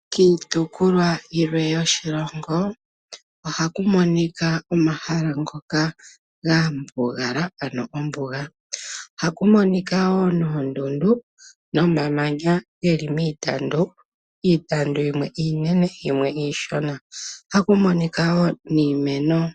Kiitopolwa yilwe yoshilongo ohaku monika omahala ngoka ga mbugala ano ombuga, haku monika wo noondundu nomamanya ge li miitandu. Iitandu yimwe iinene yimwe iishona, ohaku monika wo niimeno.